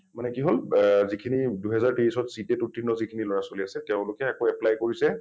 মানে কি হল ব যিখিনি দুই হাজাৰ তেইছত CTET যিখিনি লৰা ছোৱালী আছে তেঁওলোকে আকৌ apply কৰিছে।